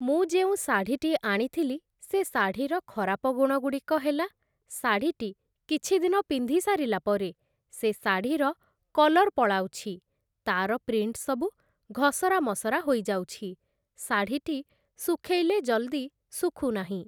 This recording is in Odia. ମୁଁ ଯେଉଁ ଶାଢୀଟି ଆଣିଥିଲି, ସେ ଶାଢୀର ଖରାପ ଗୁଣଗୁଡ଼ିକ ହେଲା ଶାଢ଼ୀର କିଛିଦିନ ପିନ୍ଧି ସାରିଲା ପରେ ସେ ଶାଢ଼ୀ କଲର୍ ପଳାଉଛି, ତା'ର ପ୍ରିଣ୍ଟ ସବୁ ଘଷରା ମସରା ହୋଇଯାଉଛି ଶାଢ଼ୀଟି ଶୁଖେଇଲେ ଜଲଦି ଶୁଖୁନାହିଁ ।